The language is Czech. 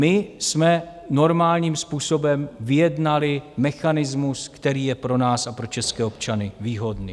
My jsme normálním způsobem vyjednali mechanismus, který je pro nás a pro české občany výhodný.